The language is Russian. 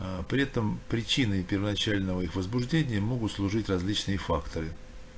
аа при этом причиной первоначального их возбуждения могут служить различные факторы